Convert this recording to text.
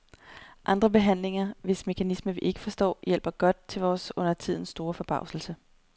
Andre behandlinger, hvis mekanisme vi ikke forstår, hjælper godt, til vores undertiden store forbavselse.